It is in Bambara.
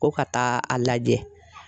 Ko ka taa a lajɛ